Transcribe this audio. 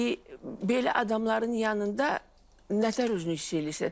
Və belə adamların yanında nətər özünü hiss eləyirsən?